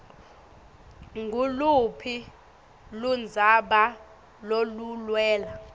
nguluphi ludzaba loluwela